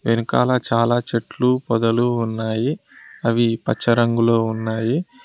వెనకాల చాలా చెట్లు పదులు ఉన్నాయి అవి పచ్చ రంగులో ఉన్నాయి.